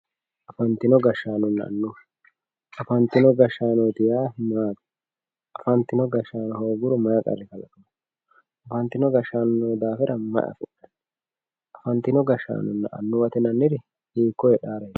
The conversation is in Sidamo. Afantino gashanona anuwwa afantino gashano yaa maati afantino gashaano hoguro mayi qari kalaqamano afantino gashano yinoyi dafira maa afinani afantino gashanona anuwate yinemori hiiko hedhaworeti.